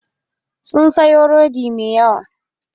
Sun sayo rodi mai yawa.